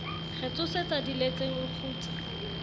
re tsosetsa diletseng o kgutsa